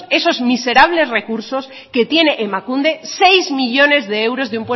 esos miserables recursos que tiene emakunde seis millónes de euros